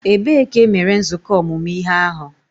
Ebee ka e mere nzukọ ọmụmụ ihe ahụ?